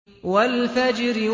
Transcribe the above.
وَالْفَجْرِ